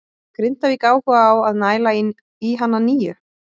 Hefur Grindavík áhuga á að næla í hann að nýju?